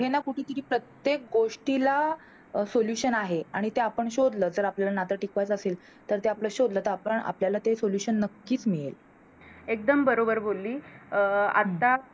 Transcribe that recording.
कुठे ना कुठेतरी प्रत्येक गोष्टीला Solution आहे आणि ते आपण शोधल तर आपल्याला नात टिकवायच असेल तर ते आपण शोधलं आपल्याला ते Solution नक्कीच मिळेल एकदम बरोबर बोलली.